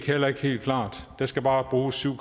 heller ikke helt klart der skal bare bruges syv